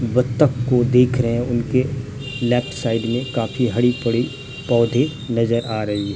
बत्तख को देख रहे हैं उनके लेफ्ट साइड में काफी हरी पडी पौधे नजर आ रही।